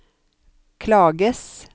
klages